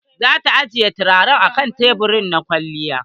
Za ta ajiye turaren a kan tebur na kwalliya.